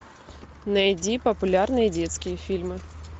найди популярные детские фильмы